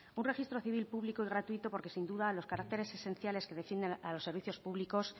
un registro civil público y gratuito porque sin duda los caracteres esenciales que definen a los servicios públicos